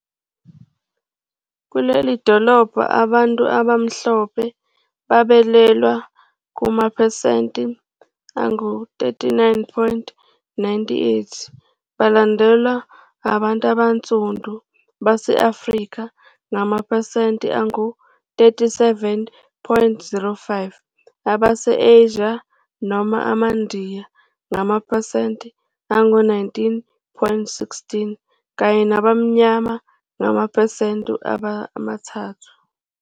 Kulelidolobha abantu abaMhlophe babalelwa kumaphesenti angu-39.98, belandelwa abantu abansundu base-Afrika ngamaphesenti angu-37.05, Abase-Asia Noma AmaNdiya ngamaphesenti angu-19.16 kanye nabamnyama ngamaphesenti amathathu.